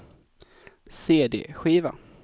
cd-skiva